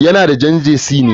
Yana da Jan ŽELEZNÝ